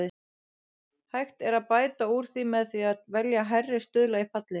Hægt er að bæta úr því með því að velja hærri stuðla í fallið.